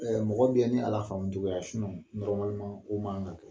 Ɛɛ mɔgɔ bɛɛ ni a lafaamu cogoya ye o man ka kɛ.